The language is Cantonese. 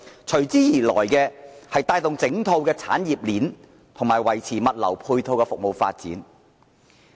隨之而來，便是帶動整套產業鏈及維持物流配套的服務發展。